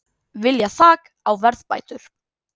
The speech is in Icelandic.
Vilja þak á verðbætur